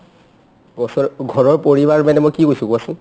বছৰ ঘৰৰ পৰিবাৰ মানে মই কি কৈছো কোৱাচোন ?